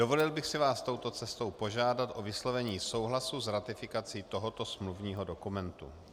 Dovolil bych si vás touto cestou požádat o vyslovení souhlasu s ratifikací tohoto smluvního dokumentu.